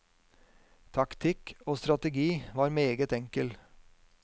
Taktikk og strategi var meget enkel.